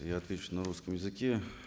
я отвечу на русском языке